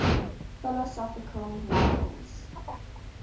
philosophical novels